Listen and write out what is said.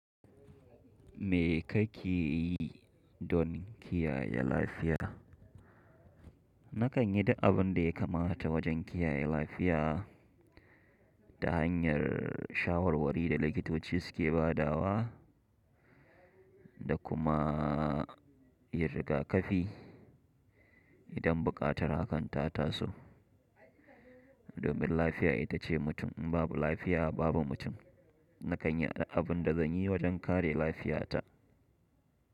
Me kake yi don kiyaye lafiya? Na kan yi duk abun da ya kamata wajen kiyaye lafiya, ta hanyar shawarwari da likitoci suke badawa, da kuma yin rigakafi. Idan buƙatar hakan ta taso. Domin lafiya ita ce mutum, in babu lafiya babu mutum. Na kan yi duk abin da zan yi wajen kare lafiyata.